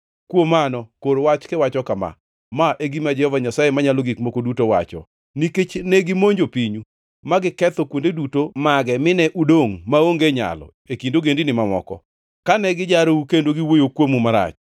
Kuom mano, kor wach kiwacho kama: ‘Ma e gima Jehova Nyasaye Manyalo Gik Moko Duto wacho: Nikech negimonjo pinyu ma giketho kuonde duto mage mine udongʼ maonge nyalo e kind ogendini mamoko, kane gijarou kendo giwuoyo kuomu marach,